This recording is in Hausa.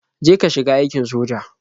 Je ka shiga aikin soja.